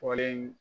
Fɔlen